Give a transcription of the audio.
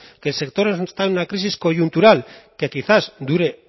que el sector está en una crisis coyuntural que quizás dure